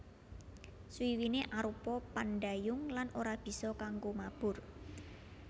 Swiwiné arupa pandhayung lan ora bisa kanggo mabur